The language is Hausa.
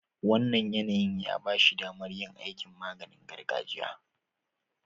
Wannan yanayin ya ba shi damar yin aikin maganing gargajiya.